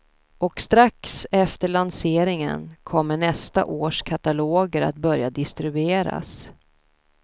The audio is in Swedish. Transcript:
Och strax efter lanseringen kommer nästa års kataloger att börja distribueras.